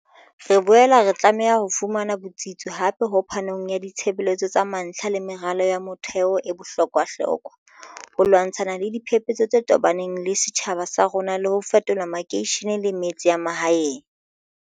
Re boela re tlameha ho fumana botsitso hape ho phanong ya ditshebeletso tsa mantlha le meralo ya motheo e bohlokwahlokwa, ho lwantshana le diphepetso tse tobaneng le setjhaba sa rona le ho fetola makeishene le metse ya mahaeng.